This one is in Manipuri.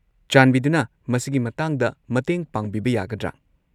ꯆꯥꯟꯕꯤꯗꯨꯅ ꯃꯁꯤꯒꯤ ꯃꯇꯥꯡꯗ ꯃꯇꯦꯡ ꯄꯥꯡꯕꯤꯕ ꯌꯥꯒꯗ꯭ꯔꯥ?